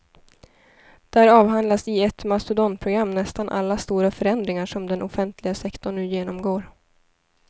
Där avhandlas i ett mastodontprogram nästan alla stora förändringar som den offentliga sektorn nu genomgår.